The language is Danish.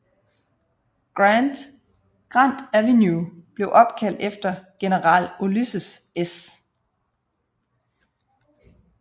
Grant Avenue blev opkaldt efter General Ulysses S